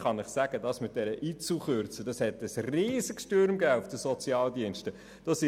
Wegen der Kürzung der IZU hat es auf den Sozialdiensten einen riesigen Aufruhr gegeben.